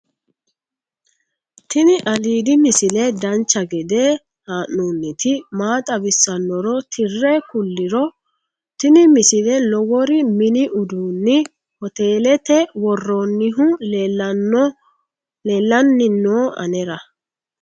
tini aliidi misile dancha gede haa'nooniti maa xawissannoro tire kulliro tini misile lowori mini uduunni hotelete worronnihu leellanni no anera